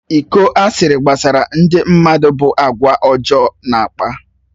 Ịkọ asịrị gbasara ndị mmadụ bụ àgwà ọjọọ na-akpa.